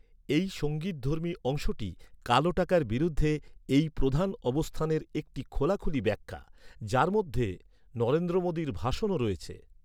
এই সঙ্গীতধর্মী অংশটি কালো টাকার বিরুদ্ধে এই প্রধান অবস্থানের একটি খোলাখুলি ব্যাখ্যা, যার মধ্যে নরেন্দ্র মোদীর ভাষণও রয়েছে।